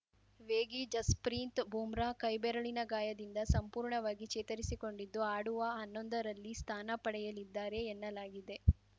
ವೇಗಿ ಜಸ್‌ಪ್ರೀತ್‌ ಬೂಮ್ರಾ ಕೈಬೆರಳಿನ ಗಾಯದಿಂದ ಸಂಪೂರ್ಣವಾಗಿ ಚೇತರಿಸಿಕೊಂಡಿದ್ದು ಆಡುವ ಹನ್ನೊಂದರಲ್ಲಿ ಸ್ಥಾನ ಪಡೆಯಲಿದ್ದಾರೆ ಎನ್ನಲಾಗಿದೆ